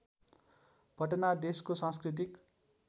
पटना देशको सांस्कृतिक